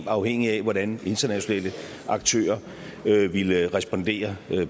afhængig af hvordan internationale aktører ville respondere